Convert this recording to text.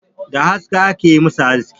Da aska aka yi masa aski